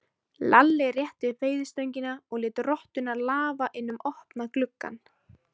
Lalli rétti upp veiðistöngina og lét rottuna lafa inn um opna gluggann.